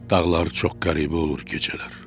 Dağlar çox qəribə olur gecələr.